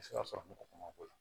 sɔrɔ mɔgɔ ma k'o la